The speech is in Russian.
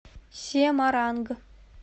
семаранг